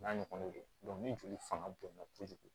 N'a ɲɔgɔnaw do ni joli fanga bonyana kojugu